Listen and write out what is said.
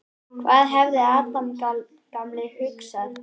Hvað hefði Adam gamli hugsað?